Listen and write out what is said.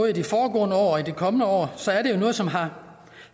i de foregående år og de kommende år så er det jo noget som har